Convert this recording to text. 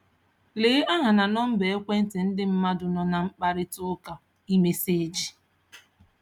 Lee aha na nọmba ekwentị ndị mmadụ nọ na mkparịtaụka iMessage